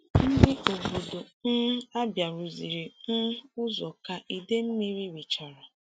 Ndị obodo um Abia rụziri um ụzọ ka ide mmiri richara.